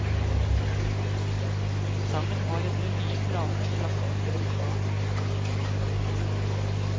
Sangen har etter de nye planene plass i de fleste fag.